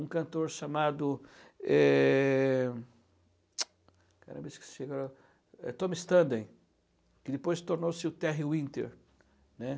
um cantor chamado eh, eu esqueci agora, Tom Standen, que depois tornou-se o Terry Winter, né.